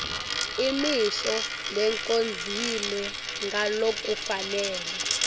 imisho lecondzile ngalokufanele